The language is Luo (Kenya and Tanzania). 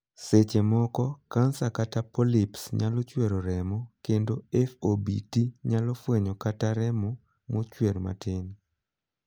Seche moko, kansa kata 'polyps' nyalo chwero remo, kendo 'FOBT' nyalo fwenyo kata remo mochwer matin.